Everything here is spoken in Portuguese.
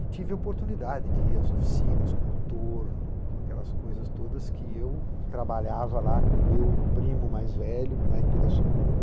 E tive a oportunidade de ir às oficinas com o torno, com aquelas coisas todas que eu trabalhava lá com o meu primo mais velho, lá em Pirassununga.